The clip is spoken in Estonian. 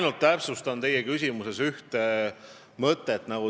Ma täpsustan ühte teie küsimuses kõlanud mõtet.